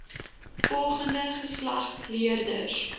volgende geslag leerders